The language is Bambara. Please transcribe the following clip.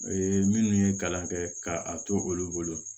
minnu ye kalan kɛ ka a to olu bolo